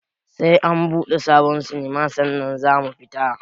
Sai an buɗe sabon sinima sannan zamu fita